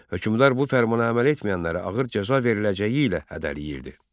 Hökmdar bu fərmana əməl etməyənlərə ağır cəza veriləcəyi ilə hədələyirdi.